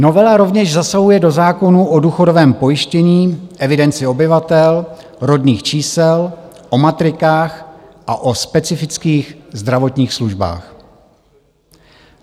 Novela rovněž zasahuje do zákonů o důchodovém pojištění, evidenci obyvatel, rodných čísel, o matrikách a o specifických zdravotních službách.